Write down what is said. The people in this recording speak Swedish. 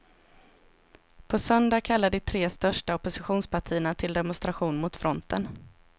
På söndag kallar de tre största oppositionspartierna till demonstration mot fronten.